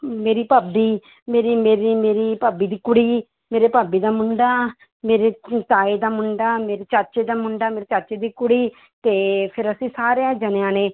ਮੇਰੀ ਭਾਬੀ ਮੇਰੀ ਮੇਰੀ ਮੇਰੀ ਭਾਬੀ ਦੀ ਕੁੜੀ ਮੇਰੇ ਭਾਬੀ ਦਾ ਮੁੰਡਾ ਮੇਰੇ ਹਮ ਤਾਏ ਦਾ ਮੁੰਡਾ, ਮੇਰੇ ਚਾਚੇ ਦਾ ਮੁੰਡਾ, ਮੇਰੀ ਚਾਚੇ ਦੀ ਕੁੜੀ ਤੇ ਫਿਰ ਅਸੀਂ ਸਾਰਿਆਂ ਜਾਣਿਆਂ ਨੇ